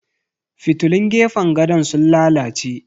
Fitilun gefen gadon sun lalace.